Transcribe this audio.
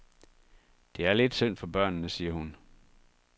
Det er lidt synd for børnene, siger hun.